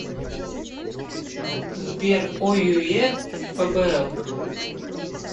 сбер ойюе фбл